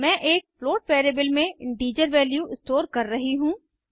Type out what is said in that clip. मैं एक float variable में इंटीजर वैल्यू स्टोर कर रही हूँ